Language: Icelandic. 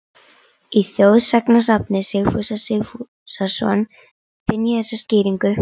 Í þjóðsagnasafni Sigfúsar Sigfússonar finn ég þessa skýringu